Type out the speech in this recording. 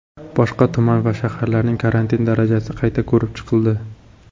Boshqa tuman va shaharlarning karantin darajasi qayta ko‘rib chiqildi.